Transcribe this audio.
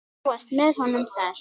Þú varst með honum þar?